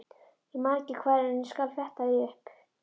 Ég man ekki hvar en ég skal fletta því upp.